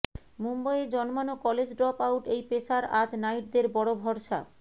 মুম্বইয়ে জন্মানো college drop out এই pacer আজ নাইটদের বড় ভরসা